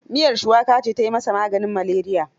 Miyar shuwaka ce ta yi masa maganin maleriya.